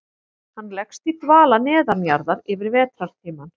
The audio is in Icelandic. Hann leggst í dvala neðanjarðar yfir vetrartímann.